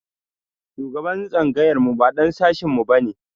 Shugaban tsangayar mu ba ɗan sashin mu ba ne.